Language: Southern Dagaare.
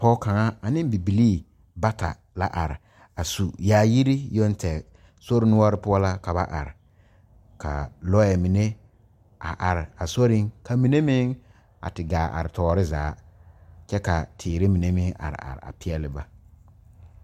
Pɔge kaŋa ane bibilee bata la are a su yaayiri yoŋ tɛɛ sori noɔre poɔ la ka ba are ka lɔɛ mine are a sori ka mine meŋ a te gaa are tɔɔre zaa kyɛ ka teere mine meŋ are are a peɛle ba.